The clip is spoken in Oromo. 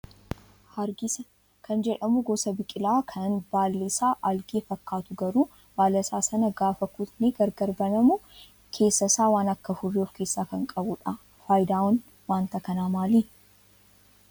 Hargisa kan jedhamu gosa biqilaa kan baalli isaa aalgee fakkaatu garuu baala isaa sana gaafa kutnee gargar banamu keessa isaa waan akka furrii of keessaa kan qabudha. Fayidaan wanta kanaa maali?